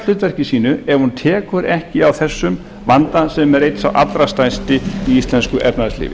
hlutverki sínu ef hún tekur ekki á þessum vanda sem er einn sá allra stærsti í íslensku efnahagslífi